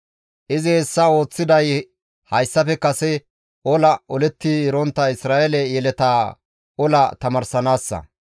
Izi hessa ooththiday hayssafe kase ola oletti erontta Isra7eele yeletaa ola tamaarsanaassa.